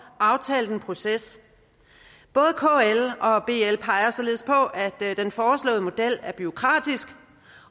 aftalt en proces både kl og og bl peger således på at den foreslåede model er bureaukratisk